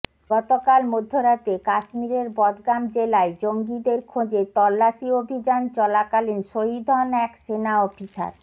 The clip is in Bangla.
গতকাল মধ্যরাতে কাশ্মীরের বদগাম জেলায় জঙ্গিদের খোঁজে তল্লাশি অভিযান চলাকালীন শহিদ হন এক সেনা অফিসার